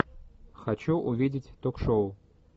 хочу увидеть ток шоу